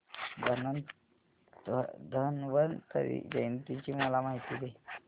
धन्वंतरी जयंती ची मला माहिती दे